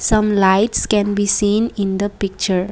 some lights can be seen in the picture.